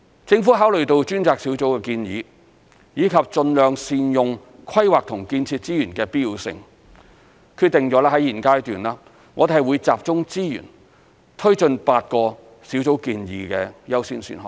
政府考慮到專責小組的建議，以及盡量善用規劃及建設資源的必要性，決定在現階段，我們會集中資源推進8個小組建議的優先選項。